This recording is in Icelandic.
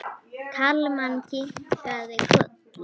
Kalman kinkaði kolli.